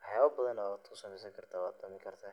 waxyabo badana ayad kusameysani karta.